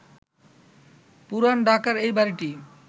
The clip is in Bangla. পুরান ঢাকার এ বাড়িটি